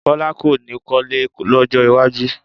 Bọ́lá kò ní kọ́lé lọ́jọ́ iwájú